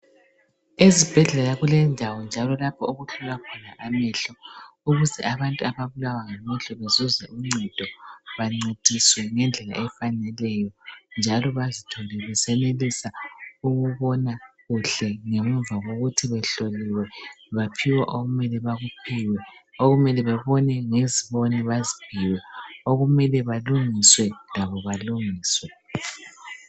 Ezibhedlela kulendawo njalo lapho okuhlolwa khona amehlo ukuze abantu ababulawa ngamehlo bezuze uncedo bancediswe ngendlela efaneleyo njalo bezithole besenelisa ukubona kuhle ngemuva kokuthi behloliwe baphiwa okumele bekuphiwe okumele bebone ngeziboni baziphiwe okumele balungiswe labo balungiswe